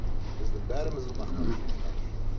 біздің бәріміздің мақтанышымыз қаныш